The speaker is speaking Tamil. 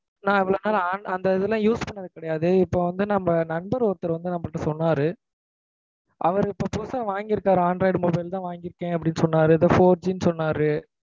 நான் இவ்வளவு நாள் android அந்த இதுலாம் use பண்ணது கிடையாது. இப்போ வந்து நம்ம நண்பர் ஒருத்தர் வந்து நம்மள்ட்ட சொன்னாரு. அவரு இப்போ புதுசா வாங்கி இருக்காராம். Android mobile லு தான் வாங்கி இருக்கேன் அப்படினு சொன்னாரு. ஏதோ four G ன்னு சொன்னாரு.